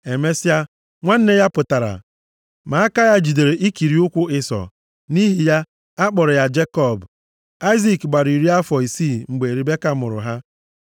Emesịa, nwanne ya pụtara, ma aka ya jidere ikiri ụkwụ Ịsọ. Nʼihi ya, a kpọrọ aha ya Jekọb. Aịzik gbara iri afọ isii mgbe Ribeka mụrụ ha.